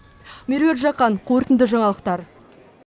меруерт жақан қорытынды жаңалықтар